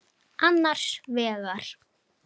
Annars vegar